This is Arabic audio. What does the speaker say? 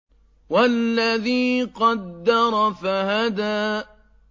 وَالَّذِي قَدَّرَ فَهَدَىٰ